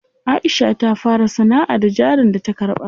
Aisha ta fara sanaʼa da jarin da ta karɓa.